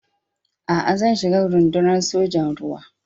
A'a, zan shiga Rundunar Sojan Ruwa.